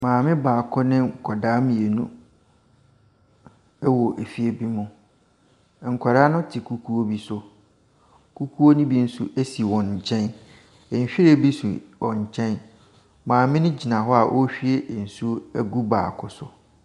Maame baako ne nkwadaa mmienu wɔ fie bi mu. Nkwadaa no te kukuo bi so. Kukuo no bi nso si wɔn nkyɛ. Nhwiren si wɔn nkyɛn. Maame no gyina hɔ a ɔrehwie nsuo agu baako so.